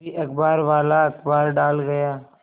तभी अखबारवाला अखबार डाल गया